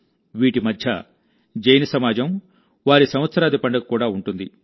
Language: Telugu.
వీటి మధ్య జైన సమాజం వారి సంవత్సరాది పండుగ కూడా ఉంటుంది